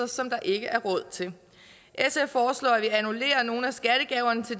som der ikke er råd til sf foreslår at vi annullerer nogle af skattegaverne til